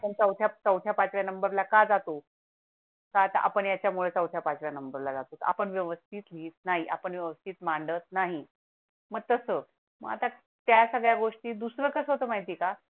चौथऱ्या च्या पाचव्या नंबर ला का जातो तात आपण याच्या मुळे चौथ्या पाचव्या नंबर ला जातो होता आपण व्यवस्थित लिहित नाही. आपण व्यवस्थित मांडली नाही. मग तसं मग आता त्या सगळ्या गोष्टी दुसरं कसं माहिती का